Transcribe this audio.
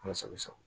Ala sago i sago